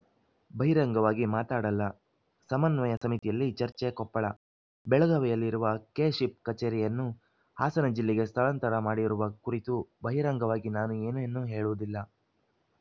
ಬಹಿರಂಗವಾಗಿ ಮಾತಾಡಲ್ಲ ಸಮನ್ವಯ ಸಮಿತಿಯಲ್ಲಿ ಚರ್ಚೆ ಕೊಪ್ಪಳ ಬೆಳಗಾವಿಯಲ್ಲಿರುವ ಕೆಶಿಪ್‌ ಕಚೇರಿಯನ್ನು ಹಾಸನ ಜಿಲ್ಲೆಗೆ ಸ್ಥಳಾಂತರ ಮಾಡಿರುವ ಕುರಿತು ಬಹಿರಂಗವಾಗಿ ನಾನು ಏನನ್ನೂ ಹೇಳುವುದಿಲ್ಲ